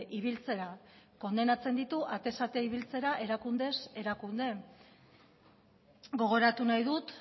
ibiltzera kondenatzen ditu atez ate ibiltzera erakundez erakunde gogoratu nahi dut